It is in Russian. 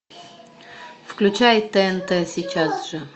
включай тнт сейчас же